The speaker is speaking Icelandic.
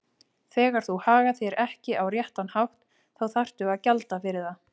Þegar þú hagar þér ekki á réttan hátt þá þarftu að gjalda fyrir það.